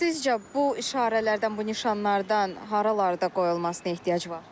Sizcə bu işarələrdən, bu nişanlardan haralarda qoyulmasına ehtiyac var?